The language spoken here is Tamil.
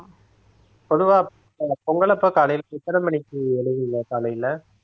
பொதுவா பொ~ பொங்கல் அப்ப காலையில எத்தனை மணிக்கு எழுந்தீங்க காலையில